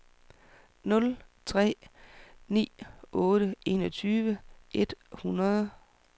nul tre ni otte enogtyve et hundrede